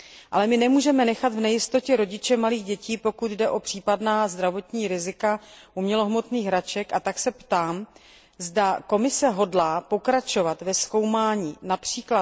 Ale my nemůžeme nechat v nejistotě rodiče malých dětí, pokud jde o případná zdravotní rizika umělohmotných hraček, a tak se ptám, zda Komise hodlá pokračovat ve zkoumání např.